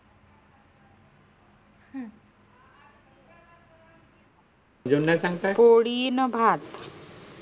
कढी न भात